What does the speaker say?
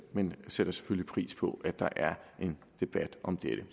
men sætter selvfølgelig pris på at der er en debat om dette